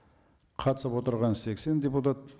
қатысып отырған сексен депутат